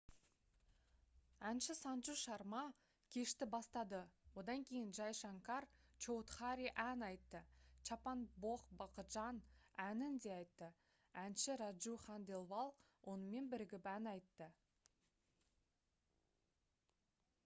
әнші санджу шарма кешті бастады одан кейін джай шанкар чоудхари ән айтты чаппан бхог бхаджан әнін де айтты әнші раджу ханделвал онымен бірігіп ән айты